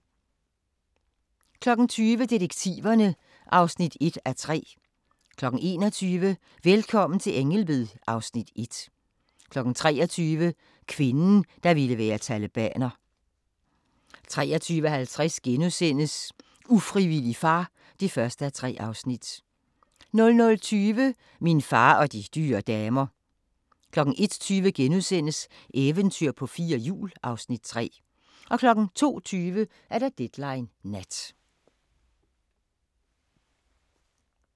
20:00: Detektiverne (1:3) 21:00: Velkommen til Ängelby (Afs. 1) 23:00: Kvinden, der ville være talibaner 23:50: Ufrivillig far (1:3)* 00:20: Min far og de dyre damer 01:20: Eventyr på fire hjul (Afs. 3)* 02:20: Deadline Nat